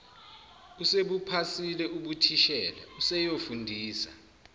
usebuphasile ubuthishela useyofundisa